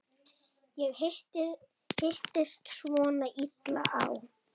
Það hittist svona illa á.